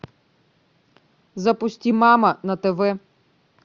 запусти мама на тв